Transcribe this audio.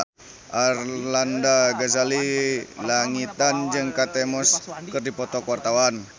Arlanda Ghazali Langitan jeung Kate Moss keur dipoto ku wartawan